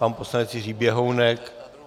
Pan poslanec Jiří Běhounek?